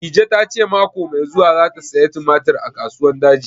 Dije ta ce mako mai zuwa za ta saya tumatir a Kasuwan Daji